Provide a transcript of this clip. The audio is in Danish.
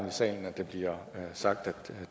i sagen det bliver sagt at